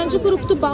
Neçənci qrupdur?